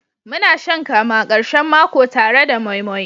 Muna shan kamu a karshen mako tare da moi moi.